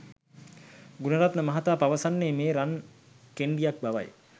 ගුණරත්න මහතා පවසන්නේ මේ රන් කෙණ්ඩියක් බවයි.